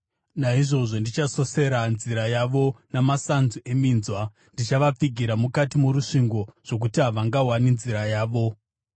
Naizvozvo ndichasosera nzira yavo namasanzu eminzwa; ndichavapfigira mukati morusvingo zvokuti havangawani nzira yavo.